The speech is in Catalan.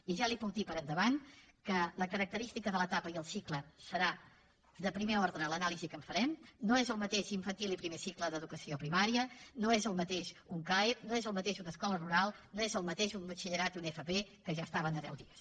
i ja li puc dir per endavant que la característica de l’etapa i el cicle serà de primer ordre a l’anàlisi que en farem no és el mateix infantil i primer cicle d’educació primària no és el mateix un caep no és el mateix una escola rural no és el mateix un batxillerat i una fp que ja estaven a deu dies